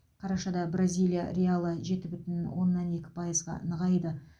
қарашада бразилия реалы жеті бүтін оннан екі пайызға нығайды